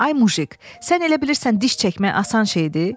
Ay mujiq, sən elə bilirsən diş çəkmək asan şeydir?